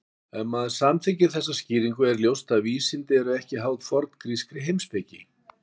Ef maður samþykkir þessa skýringu er ljóst að vísindi eru ekki háð forngrískri heimspeki.